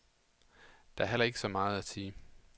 Der er heller ikke så meget at sige.